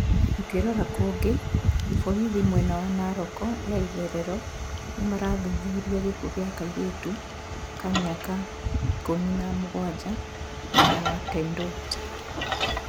Tukirora kũnge, borithi mwena wa Naroko ya itherero nĩ marathuthuria gĩkuũ kĩa kairĩtu ka mĩaka ikũmina mũgwanja mwena wa Tendwet.